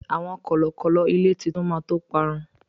àwọn kọlọkọlọ ilé titu ma to parun